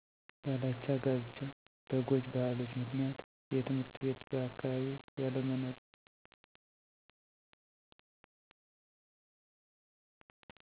ያላቻ ጋብቻ በጎጅ ባህሎች ምክንያት የትምህርትቤት በአካባቢ ያለመኖር